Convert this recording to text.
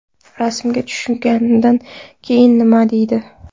Rasmga tushganidan keyin nima deydi?.